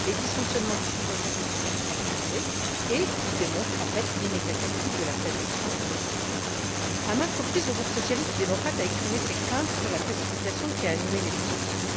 Les dysfonctionnements des dispositifs se sont accumulés et ils démontrent en fait l'inexactitude de la présomption initiale. À maintes reprises, le groupe socialiste et démocrate a exprimé ses craintes face à la précipitation qui a animé les discussions.